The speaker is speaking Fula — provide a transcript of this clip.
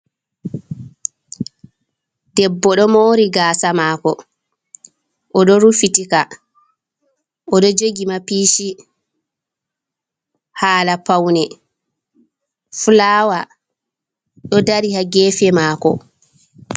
Debbo do mori gasa mako oɗo rufitika oɗo jogi mapishi hala paune fulawa ɗo dari ha gefe mako.